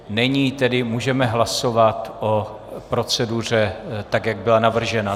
Není, tedy můžeme hlasovat o proceduře tak, jak byla navržena.